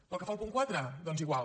pel que fa al punt quatre doncs igual